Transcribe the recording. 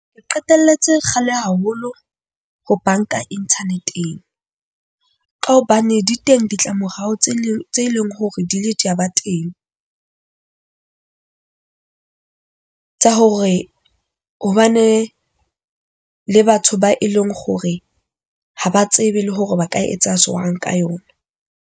Ke qetelletse kgale haholo ho banka internet-eng ka hobane di teng ditlamorao tse leng tse leng hore di le tsaba teng tsa hore ho ba ne le batho ba e leng hore ha ba tsebe le hore ba ka etsa jwang ka yona .